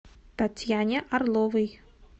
татьяне орловой